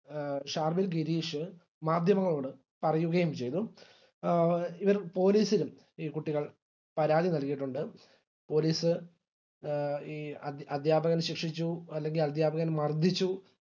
ഷാർവിൻ ഗിരീഷ് മാധ്യമങ്ങളോട് പറയുകയും ചെയ്തു police ലും ഈ കുട്ടികൾ പരാതി നല്കിയിട്ടുണ്ട് police ഈ അധ്യാപകൻ ശിക്ഷിച്ചു അല്ലെങ്കിൽ അധ്യാപകൻ മർദിച്ചു